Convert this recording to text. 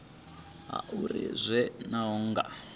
hu uri a zwo ngo